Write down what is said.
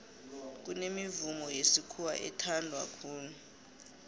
kunemivumo yesikhuwa ethanwa khulu